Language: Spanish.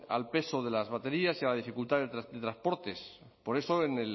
al peso de las baterías y a la dificultad de transportes por eso en